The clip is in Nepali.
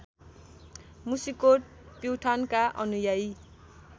मुसिकोट प्युठानका अनुयायी